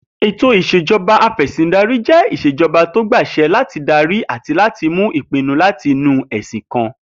Ètò ìs̩ejo̩ba afè̩sìndarí jé ìs̩ejo̩ba tó gba às̩e̩ láti darí àti láti mú ìpinu láti inú è̩sìn kan